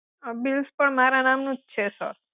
Bills પણ મારા નામનું જ છે સર.